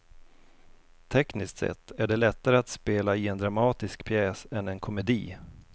Tekniskt sett är det lättare att spela i en dramatisk pjäs än en komedi.